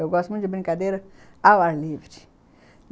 Eu gosto muito de brincadeira ao ar livre.